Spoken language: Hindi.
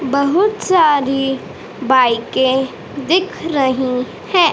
बहुत सारी बाईके दिख रही है।